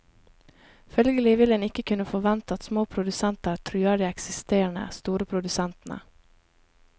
Følgelig vil en ikke kunne forvente at små produsenter truer de eksisterende, store produsentene.